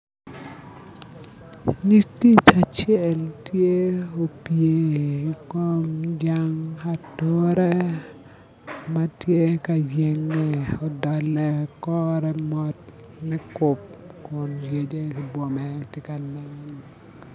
Nyig kic acel tye opye i kom jang ature ma tye ka yenge odolo kore mot nikup kun yece ki bwome tye ka nen